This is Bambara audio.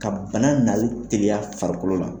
Ka bana nali teliya farikolo la.